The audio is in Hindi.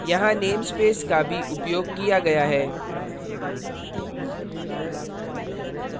यहाँ namespace का भी उपयोग किया गया है